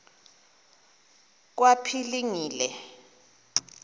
kwaphilingile